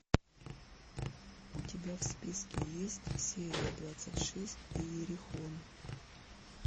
у тебя в списке есть серия двадцать шесть иерихон